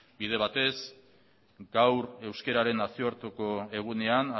bide batez gaur euskararen nazioarteko egunean